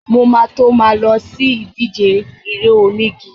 Mo ma tó ma lọ sí ìdíje eré onígi.